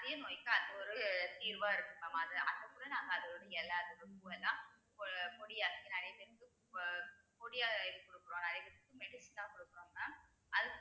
அதே நோய்க்கு அது ஒரு தீர்வா இருக்கும் mam அது அது கூட நாங்க அதை வந்து இலை அதுல இருக்க பூ எல்லாம் பொ~ பொடி அரைச்சு நிறைய பேத்துக்கு எல்லாம் பொ~ பொடியா இது கொடுக்கிறோம் நிறைய பேத்துக்கு medicine ஆ கொடுக்கிறோம் mam